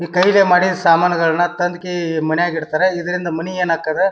ಈ ಕೈಲ್ಲೇ ಮಾಡಿದ್ ಸಾಮಾನ್ ಗಳನ್ನ ತಂದ್ ಕೆ ಮನ್ಯಾಗ ಇಡತಾರ. ಇದ್ರಿಂದ ಮನಿ ಯೆನಾಕ್ಕಾದ --